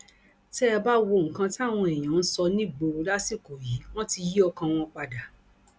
tẹ ẹ bá wo nǹkan táwọn èèyàn ń sọ nígboro lásìkò yìí wọn ti yí ọkàn wọn padà